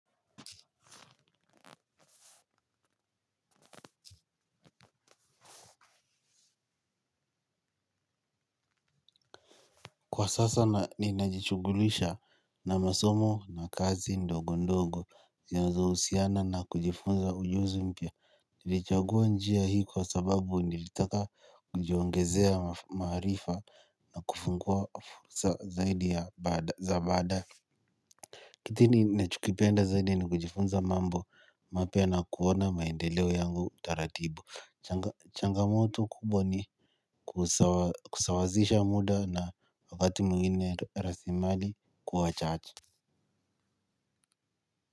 Kwa sasa ninajishughulisha na masomo na kazi ndogondogo zinazohusiana na kujifunza ujuzi mpya. Nilichagua njia hii kwa sababu nilitaka kujiongeza maaarifa na kufungua fursa zaidi za baadae. Kitini nachokipenda zaidi ni kujifunza mambo mapya na kuona maendeleo yangu taratibu. Changamoto kubwa ni kusawazisha muda na wakati mwingine rasilimali kuwa chache.